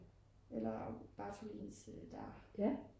eller Bartholins der